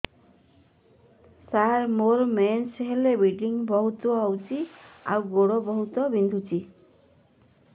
ସାର ମୋର ମେନ୍ସେସ ହେଲେ ବ୍ଲିଡ଼ିଙ୍ଗ ବହୁତ ହଉଚି ଆଉ ଗୋଡ ବହୁତ ବିନ୍ଧୁଚି